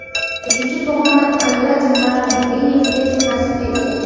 Uchinchi pog‘ona Ayrat Mardeyevga nasib etgan.